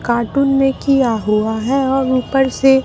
cartoon में किया हुआ है और ऊपर से--